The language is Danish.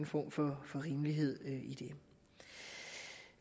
form for rimelighed i det